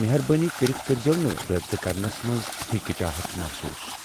مہربٲنی کٔرتھ کٕرزیو نہٕ رٲبطہٕ کرنس منٛز ہچکچاہٹ محسوس ۔